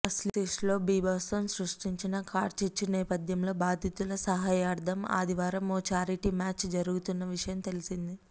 ఆసీస్లో బీభత్సం సృష్టించిన కార్చిచ్చు నేపథ్యంలో బాధితుల సహాయార్థం ఆదివారం ఓ ఛారిటీ మ్యాచ్ జరుగుతున్న విషయం తెలిసిందే